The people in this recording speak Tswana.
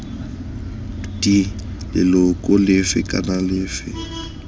d leloko lefe kana lefe